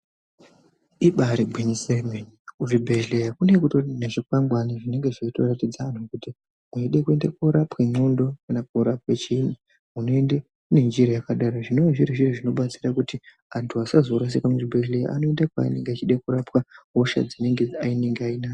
Ibaari gwinyiso remene kuzvibhedhlera kunenge kutori nezvikwangwani zvinenge zveitoratidze antu kuti weide kuende koorapwa ndxondo kana koorapwa chiinyi unoenda unoende ngenjira yakati. Izvi zvinodetsera kuti antu asazorashika muzvibhedhlera. Anoenda kwaanenge achide kurapwa hosha yaanenge ainayo.